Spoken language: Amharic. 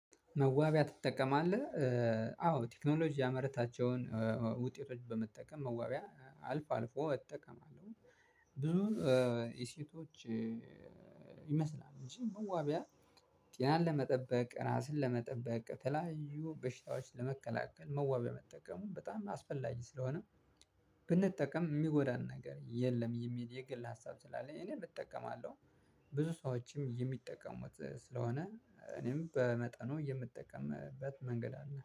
መዋቢያ ትጠቀማለህ? አዎ ቴክኖሎጂ ያመረታቸውን ውጤቶች በመጠቀም መዋቢያ አልፎ አልፎ እጠቀማለሁ። ብዙ የሴቶች ይመስላል እንጂ መዋቢያ ጤናን ለመጠበቅ ራስን ለመጠበቅ የተላዩ በሽታዎች ለመከላከል መዋቢያ መጠቀሙ በጣም አስፈላጊ ስለሆነ። ብንጠቀም የሚጎዳን ነገር የልም የሚል የግል ሀሳብ ስላለኝ እኔም እጠቀማለሁ። ብዙ ሰዎች የሚተቀሙት ስለሆነ እኔም በመጠኑ የምጠቀምበት መንገድ አለ